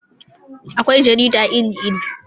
Akwai jarida iri iri